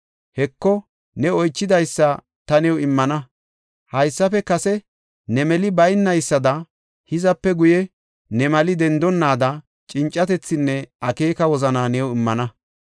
Heko, ne oychidaysa ta new immana. Haysafe kase ne meli baynaysada hizape guye ne mali dendonnaada cincatethinne akeeka wozana new immana.